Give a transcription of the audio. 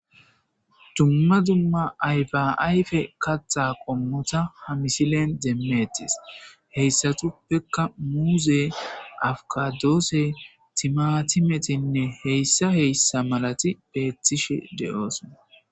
dumma dumma ayfa ayfe kaaththa qommotta ha misilen demetees heyssatuppekka muuze afikadoose timatimetinne heyssa heyssa malati beetiishshe de'oosona